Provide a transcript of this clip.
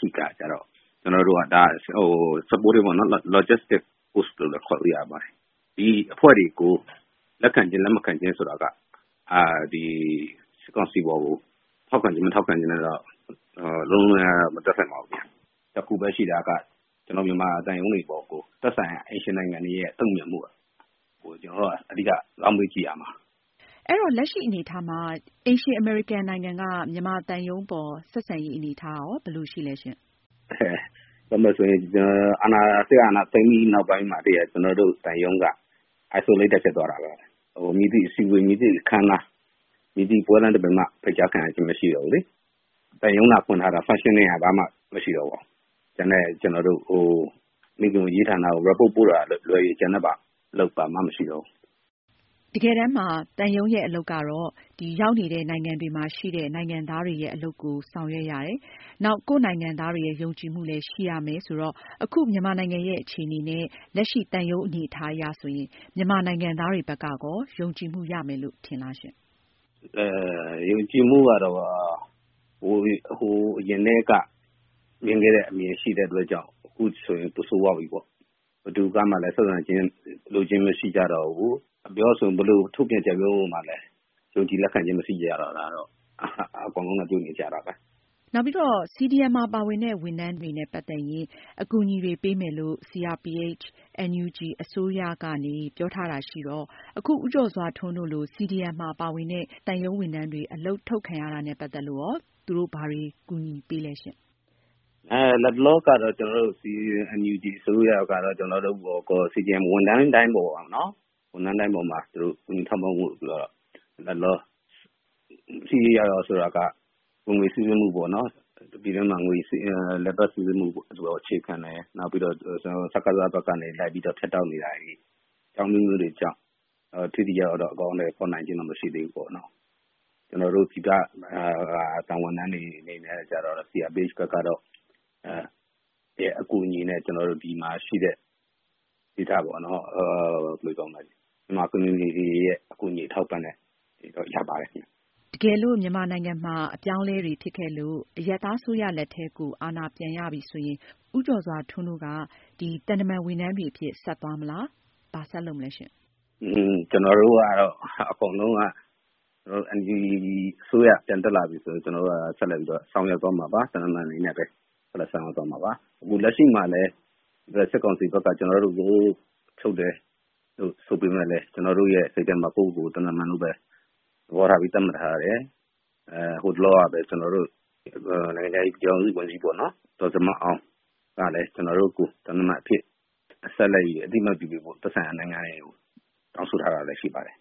ဆင့်ရာထူးတွေကျတော့ လက်ခံခြင်း၊ လက်မခံခြင်းဆိုတာ စစ်ကောင်စီကို ထောက်ခံခြင်း၊ မထောက်ခံခြင်းနဲ့ လုံးဝမသက်ဆိုင်ပါဘူးခင်ဗျ။ တခုပဲရှိတာက ကျနော်တို့ မြန်မာသံရုံးတွေပေါ်ကို သက်ဆိုင်ရာ အိမ်ရှင်နိုင်ငံတွေရဲ့ တုန့်ပြန်မှုကို ကျနော်တို့က အဓိက ဇောင်းပေးကြည့်ရမှာ။ အင်ကြင်းနိုင်။ ။ အဲတော့ လက်ရှိအနေအထားမှာ အိမ်ရှင် အမေရိကန်နိုင်ငံက မြန်မာသံရုံးအပေါ် ဆက်ဆံတဲ့ သဘောထားဘယ်လိုရှိလဲ။ ဦးကျော်စွာထွန်း။ ။ ပြောမယ်ဆိုရင် စစ်အာဏာသိမ်းပြီး နောက်ပိုင်း ကျနော်တို့သံရုံးက အထီးကျန်ဖြစ်သွားတာပဲ။ မည်သည့်အစည်းအဝေး၊ မည်သည့်အခမ်းအနား၊ မည်သည့် ပွဲလမ်းသဘင်မှ ဖိတ်ကြားခံရခြင်းမရှိတော့ဘူး။ သံရုံးသာဖွင့်ထားတာ လုပ်စရာဘာမှမရှိတော့ပါဘူး။ ကျန်တဲ့ မိခင်ဝန်ကြီးဌာနကို အစီရင်ခံတင်ပြတာကလွဲလို့ ကျန်တဲ့ အလုပ်ဘာမှမရှိတော့ဘူး။ အင်ကြင်းနိုင်။ ။ တကယ်တမ်းမှာ သံရုံးရဲ့အလုပ်က ရောက်နေတဲ့နိုင်ငံတွေမှာရှိနေတဲ့ နိုင်ငံသားတွေရဲ့ အရေးကိုဆောင်ရွက်ရတယ်။ နောက် ကိုယ့်နိုင်ငံသားတွေရဲ့ ယုံကြည်မှုလည်းရှိရမယ်ဆိုတော့ အခု မြန်မာနိုင်ငံရဲ့အခြေအနေနဲ့ လက်ရှိသံရုံးအနေအထားအရ မြန်မာနိုင်ငံသားတွေဘက်က ယုံကြည်မှုရမယ်လို့ ထင်လား။ ဦးကျော်စွာထွန်း။ ။ ယုံကြည်မှုကတော့ ဟိုးအရင်ကတည်းက မြင်ခဲ့တဲ့အမြင်ရှိခဲ့တဲ့အတွက်ကြောင့် အခုဆိုရင် ပိုဆိုးသွားပြီပေါ့။ ဘယ်သူကမှလည်း ဆက်ဆံလိုခြင်း မရှိကြတော့ဘူး။ ဘယ်လိုထုတ်ပြန်ချက်မျိုးကိုမှလည်း လက်ခံယုံကြည်ခြင်းမရှိကြတာကတော့ အကုန်လုံးတွေ့နေကြတာပဲ။ အင်ကြင်းနိုင် ။ ။ CDM မှာပါတဲ့ ဝန်ထမ်းတွေနဲ့ ပတ်သက်ရင် အကူအညီတွေပေးမယ်လို့ CRPH NUG အစိုးရက ပြောထားတာရှိတော့ အခုလို ဦးကျော်စွာထွန်းတို့လို CDM မှာပါဝင်တဲ့ သံရုံးဝန်ထမ်းတွေ အလုပ်ထုတ်ခံရတာနဲ့ ပတ်သက်လို့ သူတို့ ဘာတွေကူညီပေးလဲရှင့်။ ဦးကျော်စွာထွန်း။ ။ လတ်တလောကတေ့ NUG အစိုးရက ကျနော်တို့အပေါ်မှာရော၊ CDM ဝန်ထမ်းတိုင်းပေါ်မှာ သူတို့ ကူညီထောက်ပံ့မှုတွေကိုတော့ ထိထိရောက်ရောက်လုပ်နိုင်အောင် ဆိုပေမယ့် ဝင်ငွေစီးဆင်းမှုပေါ့နော်၊ ပြည်တွင်းမှာ လည်ပတ်စီးဆင်းမှုပေါ် အခြေခံတယ်၊ နောက်ပြီး စစ်ကောင်စီဘက်ကနေ လိုက်ပြီး ဖြတ်တောက်နေတာတွေ၊ အကြောင်းအမျိုးမျိုးတွေကြောင့် ထိထိရောက်ရောက် အကောင်အထည်ဖေါ်နိုင်သေးခြင်းမရှိသေးဘူးပေါ့။ ကျနော်တို့ ပြည်ပက သံတမန်ဝန်ထမ်းတွေအတွက် CRPH ရဲ့အကူအညီနဲ့ ကျနော်တို့ ဒီမှာရှိတဲ့ ဒေသခံ မြန်မာအသိုင်းအဝိုင်းတွေရဲ့ အကူအညီတွေကို ကျနော်တို့ ရပါတယ်။ အင်ကြင်းနိုင်။ ။ တကယ်လို့ မြန်မာနိုင်ငံမှာ အပြောင်းအလဲဖြစ်ခဲ့လို့ အရပ်သားအစိုးရလက်ထဲ အာဏာပြန်ရပြီဆိုရင် ဦးကျော်စွာထွန်းတို့က သံတမန်ဝန်ထမ်းတွေအဖြစ် ဆက်သွားမလား။ ဘာဆက်လုပ်မလဲ။ ဦးကျော်စွာထွန်း။ ။ ကျနော်တို့အကုန်လုံးကတော့ အရပ်သားအစိုးရ ပြန်တက်လာပြီးဆိုတာနဲ့ ဆက်လက်ပြီးတော့ သံတမန်အနေနဲ့ပဲ တာဝန်ထမ်းဆောင်ကြမှာပါ။ အခုလက်ရှိမှာလည်း စစ်ကောင်စီဘက်က ကျနော်တို့ကို ထုတ်တယ်လို့ ဆိုပေမဲ့လည်း ကျနော်တို့ရဲ့ စိတ်ထဲမှာ ကိုယ့်ကိုကိုယ် သံတမန်လို့ပဲ သတ်မှတ်ထားတယ်။ ဟိုတလောကပဲ ကျနော်တို့ရဲ့ နိုင်ငံခြားရေးဆိုင်ရာ ပြည်ထောင်စုဝန်ကြီး ဒေါ်ဇင်မာအောင်ကလည်း ကျနော်တို့ကို သံတမန်အဖြစ် ဆက်လက်အသိအမှတ်ပြုပေးဖို့ သက်ဆိုင်ရာနိုင်ငံတွေကို တောင်းဆိုထားတာလည်းရှိပါတယ်